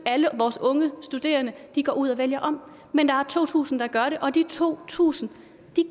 alle vores unge studerende går ud og vælger om men der er to tusind der gør det og de to tusind